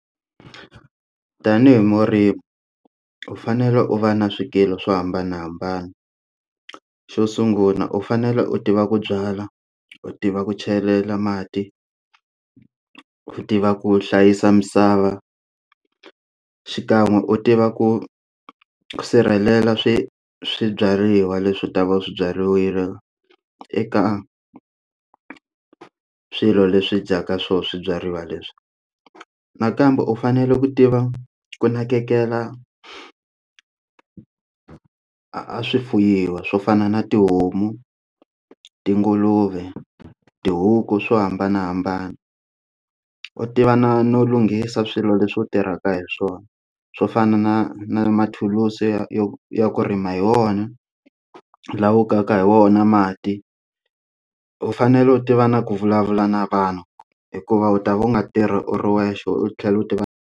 Tanihi murimi u fanele u va na swikili swo hambanahambana xo sungula u fanele u tiva ku byala u tiva ku chelela mati ku tiva ku hlayisa misava xikan'we u tiva ku sirhelela swi swibyariwa leswi u ta va swibyariwile eka swilo leswi dyaka swo swibyariwa leswi nakambe u fanele ku tiva ku nakekela a swi fuyiwa swo fana na tihomu tinguluve tihuku swo hambanahambana u tiva na no lunghisa swilo leswi u tirhaka hi swona swo fana na na mathulusi yo ya ku rima hi wona la u kaka hi wona mati u fanele u tiva na ku vulavula na vanhu hikuva u ta va u nga tirhi u ri wexe u tlhela u tiva.